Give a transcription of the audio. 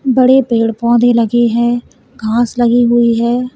बड़े पेड़ पौधे लगे हैं घास लगी हुई है।